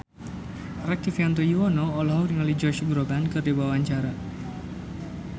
Rektivianto Yoewono olohok ningali Josh Groban keur diwawancara